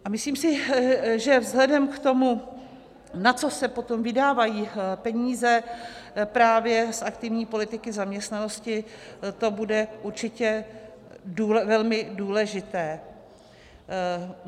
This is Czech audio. A myslím si, že vzhledem k tomu, na co se potom vydávají peníze právě z aktivní politiky zaměstnanosti, to bude určitě velmi důležité.